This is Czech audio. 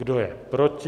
Kdo je proti?